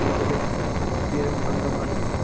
team ലെ സ്ഥിരം അംഗമായി